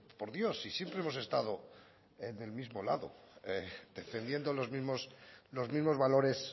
por dios si siempre hemos estado en el mismo lado defendiendo los mismos los mismos valores